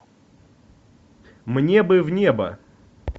мне бы в небо